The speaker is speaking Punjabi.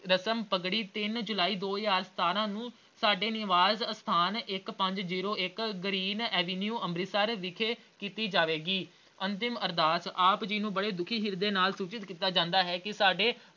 ਰਸਮ ਪਗੜੀ ਤਿੰਨ ਜੁਲਾਈ ਦੋ ਹਜ਼ਾਰ ਸਤਾਰਾਂ ਨੂੰ ਸਾਡੇ ਨਿਵਾਸ ਅਸਥਾਨ ਇੱਕ ਪੰਜ ਜ਼ੀਰੋ ਇੱਕ green avenue ਅੰਮ੍ਰਿਤਸਰ ਵਿਖੇ ਕੀਤੀ ਜਾਵੇਗੀ । ਅੰਤਿਮ ਅਰਦਾਸ ਆਪ ਜੀ ਨੂੰ ਬੜੇ ਦੁੱਖੀ ਹਿਰਦੇ ਨਾਲ ਸੂਚਤ ਕੀਤਾ ਜਾਂਦਾ ਹੈ ਕਿ ਸਾਡੇ